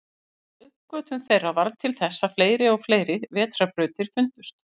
Uppgötvun þeirra varð til þess að fleiri og fleiri vetrarbrautir fundust.